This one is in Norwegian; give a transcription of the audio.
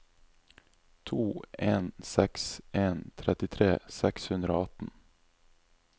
to en seks en trettitre seks hundre og atten